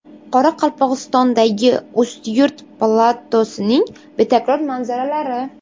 Qoraqalpog‘istondagi Ustyurt platosining betakror manzaralari .